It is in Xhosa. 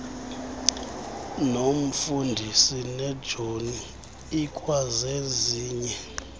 nomfundisi nejoni ikwazezinye